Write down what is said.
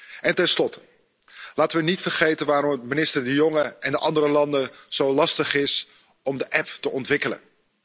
Laten we ten slotte niet vergeten waarom het voor minister De Jonge en de andere landen zo lastig is om de app te ontwikkelen.